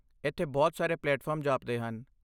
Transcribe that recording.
ਇੱਥੇ ਬਹੁਤ ਸਾਰੇ ਪਲੇਟਫਾਰਮ ਜਾਪਦੇ ਹਨ।